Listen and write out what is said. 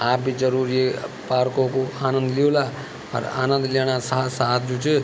आप भी जरुर ये पार्को कु आनंद ल्युला अर आनंद लीणा साथ-साथ जू च --